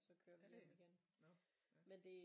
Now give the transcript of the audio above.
Er det nåh ja